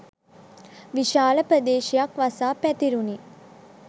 විශාල ප්‍රදේශයක් වසා පැතිරුණි